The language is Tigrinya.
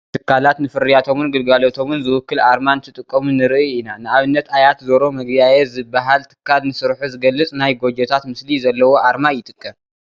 ትካላት ንፍርያቶምን ግልጋሎቶምን ዝውክል ኣርማ እንትጥቀሙ ንርኢ ኢና፡፡ ንኣብነት ኣያት ዞሮ መግቢያዬ ዝበሃል ትካል ንስርሑ ዝገልፅ ናይ ጎጆታት ምስሊ ዘለዎ ኣርማ ይጥቀም፡፡